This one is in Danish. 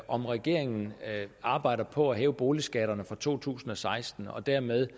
om regeringen arbejder på at hæve boligskatterne fra to tusind og seksten og dermed